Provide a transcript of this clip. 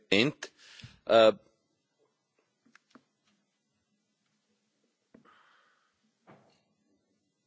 Meine Frage geht in die Richtung Wir haben jetzt von den Banken und auch von den Konsumenten gehört, dass jetzt sehr viel neue Bürokratie